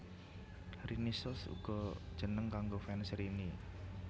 Rinicious uga jeneng kanggo fans Rini